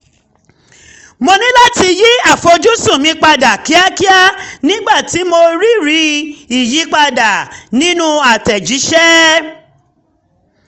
mo ní láti yí àfojúsùn mi padà kíákíá nígbà tí mo um rí rí ìyípadà um nínú àtẹ̀jíṣẹ́